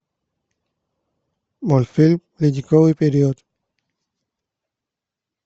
мультфильм ледниковый период